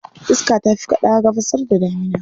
Iska ta fi kaɗawa Gabasr da damina.